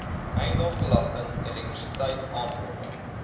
eiendomsbelasting elektrisiteit aankope